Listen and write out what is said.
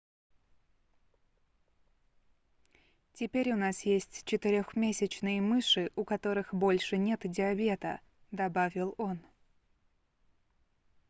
теперь у нас есть четырёхмесячные мыши у которых больше нет диабета - добавил он